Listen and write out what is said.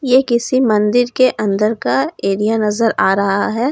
ये किसी मंदिर के अंदर का एरिया नज़र आ रहा है।